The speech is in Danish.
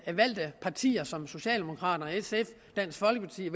valgte partier som socialdemokraterne og dansk folkeparti